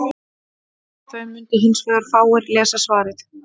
Þá mundu hins vegar fáir lesa svarið.